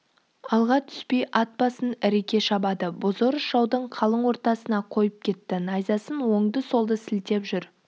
алға түспей ат басын іріке шабады бозорыс жаудың қалың ортасына қойып кетті найзасын оңды-солды сілтеп жүр